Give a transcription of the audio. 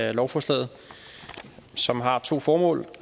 af lovforslaget som har to formål